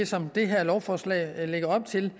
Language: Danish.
som det her lovforslag lægger op til